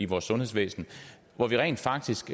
vores sundhedsvæsen og rent faktisk